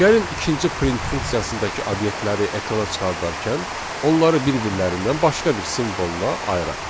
Gəlin ikinci print funksiyasındakı obyektləri ekrana çıxardarkən onları bir-birlərindən başqa bir simvolla ayıraq.